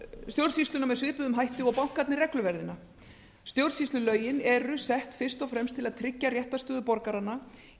stjórnsýsluna með svipuðum hætti og bankarnir regluverðina stjórnsýslulögin eru sett fyrst og fremst til að tryggja réttarstöðu borgaranna í